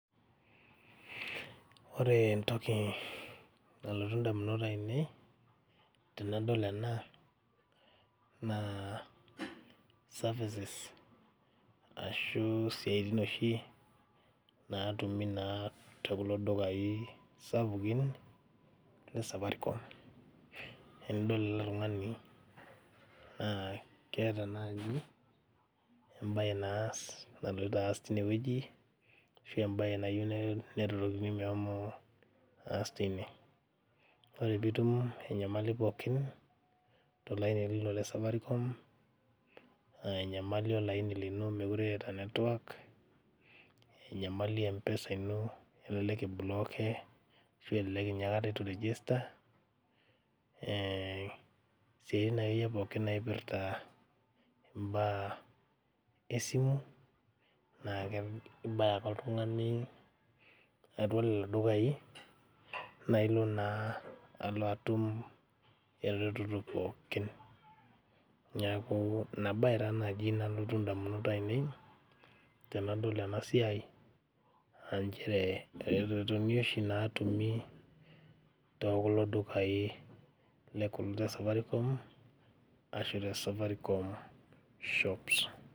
Ore entoki nalotu indamunot ainei tenadol ena naa services ashu isiaitin oshi naatumi naa tokulo dukai sapukin le safaricom enidol ele tung'ani naa keeta naaji embaye naas naloito aas teine wueji ashu embaye nayieu neretokini mehomo aas teine ore piitum enyamali pookin tolaini lino le safaricom aa enyamali olaini lino mekure eeta network enyamali mpesa ino elelek ibloke ashu ninye akata itu irejesta eh isiaitin akeyie pookin naipirta imbaa esimu naake ibaya ake oltung'ani atua lelo dukai naa ilo naa alo atum eretoto pookin niaku ina baye taa naaji nalotu indamunot ainei tenadol ena siai anchere iretotoni oshi naatumi tokulo dukai le kul le safaricom ashu te safaricom shops.